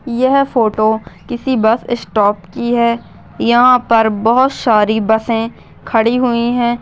यह फोटो किसी bus stop की है यहाँ पर बहोत सारी बसे खड़ी हुई है।